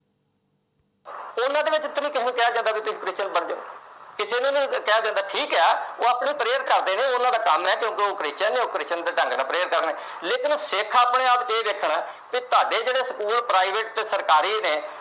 ਉਹਨਾਂ ਦੇ ਵਿੱਚ ਕਿਸੇ ਨੂੰ ਨਹੀਂ ਕਿਹਾ ਜਾਂਦਾ, ਤੁਸੀਂ Christian ਬਣ ਜੋ। ਕਿਸੇ ਨੂੰ ਵੀ ਨਹੀਂ ਕਿਹਾ ਜਾਂਦਾ, ਠੀਕ ਆ ਉਹ ਆਪਣੀ prayer ਕਰਦੇ ਨੇ। ਉਹਨਾਂ ਦਾ ਕੰਮ ਏ, ਅੱਗੋ ਉਹ Christian ਨੇ, ਉਹ Christian ਦੇ ਢੰਗ ਨਾਲ prayer ਕਰਦੇ ਨੇ। ਲੇਕਿਨ ਸਿੱਖ ਆਪਣੇ ਆਪ ਜੇ ਦੇਖਣ ਤੇ ਤੁਹਾਡੇ school ਆ private ਤੇ ਸਰਕਾਰੀ ਨੇ।